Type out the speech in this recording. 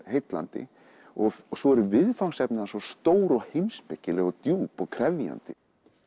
heillandi og svo eru viðfangsefni hans svo stór og heimspekileg og djúp og krefjandi